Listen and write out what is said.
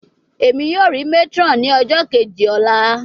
Emi yoo ri matron ni ọjọ keji ọla